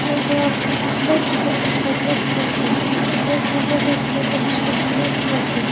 tai para stripes long pant lagai gina dikhi ase aro center de saman khan bishi rakhi gina dikhi ase.